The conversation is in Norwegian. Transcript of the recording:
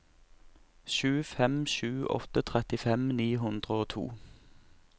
sju fem sju åtte trettifem ni hundre og to